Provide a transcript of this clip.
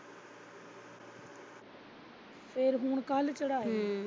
ਫਿਰ ਹੁਣ ਕੱਲ ਚੜਾਇਆ।